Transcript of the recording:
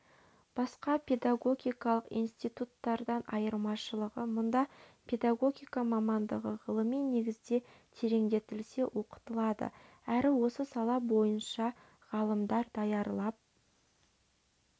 басқа педагогикалық институттардардан айрмашылығы мұнда педагогика мамандығы ғылыми негізде тереңдетіле оқытылады әрі осы сала бойынша ғалымдар даярлап